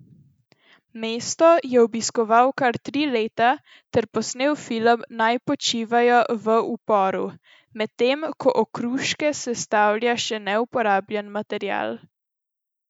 Mesto je obiskoval kar tri leta ter posnel film Naj počivajo v uporu, medtem ko Okruške sestavlja še neuporabljen material.